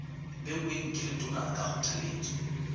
beuweng ke letona ka kgothaletso